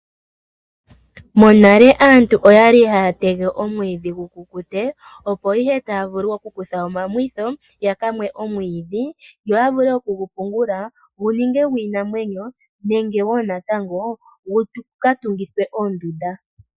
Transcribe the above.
Monale aantu oyali haya tege omwiidhi gu kukute opo ya vule okukutha omamwitho yakamwe omwiidhi yegu pungule gu ninge gwiinamwenyo nenge gu vule okukatungithwa oondunda.